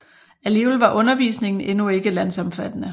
Alligevel var undervisningen endnu ikke landsomfattende